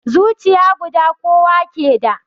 Zuciya guda kowa ke da